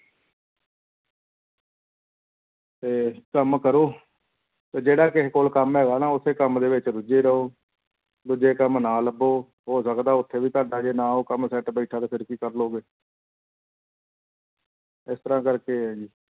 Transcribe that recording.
ਤੇ ਕੰਮ ਕਰੋ ਤੇ ਜਿਹੜਾ ਕਿਸੇ ਕੋਲ ਕੰਮ ਹੈਗਾ ਨਾ ਉਸੇ ਕੰਮ ਦੇ ਵਿੱਚ ਰੁੱਝੇ ਰਹੋ, ਦੂਜੇ ਕੰਮ ਨਾ ਲੱਭੋ, ਹੋ ਸਕਦਾ ਉੱਥੇ ਵੀ ਤੁਹਾਡਾ ਜੇ ਨਾ ਉਹ ਕੰਮ set ਬੈਠਾ ਤੇ ਫਿਰ ਕੀ ਕਰ ਲਵੋਗੇ ਇਸ ਤਰ੍ਹਾਂ ਕਰਕੇ ਹੈ ਜੀ।